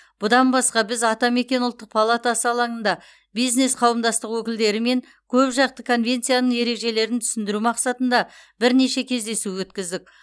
бұдан басқа біз атамекен ұлттық палатасы алаңында бизнес қауымдастық өкілдерімен көпжақты конвенцияның ережелерін түсіндіру мақсатында бірнеше рет кездесу өткіздік